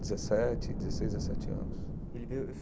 Dezessete, dezesseis, dezessete anos. Ele veio